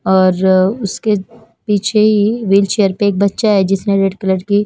और उसके पीछे ही विलचेयर पे एक बच्चा है जिसने रेड कलर की--